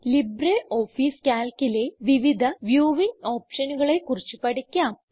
LibreOffice Calcലെ വിവിധ viewing ഓപ്ഷനുകളെ കുറിച്ച് പഠിക്കാം